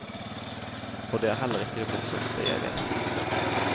Og det er heller ikke det morsomste jeg vet.